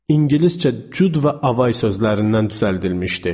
İngiliscə Cüd və Avay sözlərindən düzəldilmişdi.